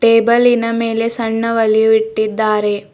ಟೇಬಲ್ಲಿನ ಮೇಲೆ ಸಣ್ಣ ಒಲಿಯೂ ಇಟ್ಟಿದ್ದಾರೆ.